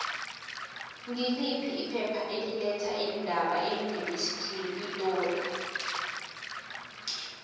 ngiliphi iphepha eli letha iindaba eunivesithi yepitori